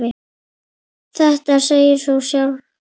Þetta segir sig jú sjálft!